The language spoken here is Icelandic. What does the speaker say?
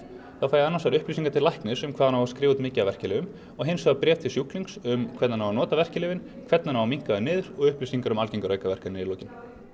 þá fæ ég annars vegar upplýsingar til læknis um hvað hann á að skrifa út mikið af verkjalyfjum og hins vegar bréf til sjúklings um hvernig hann á að nota verkjalyfin hvernig hann á að minnka þau niður og upplýsingar um algengar aukaverkanir í lokin